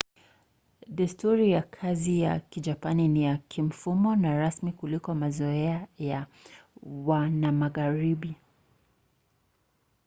desturi ya kazi ya kijapani ni ya kimfumo na rasmi kuliko mazoea ya wanamagharibi